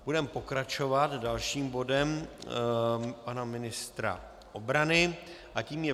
Budeme pokračovat dalším bodem pana ministra obrany a tím je